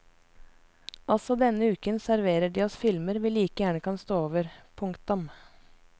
Også denne uken serverer de oss filmer vi like gjerne kan stå over. punktum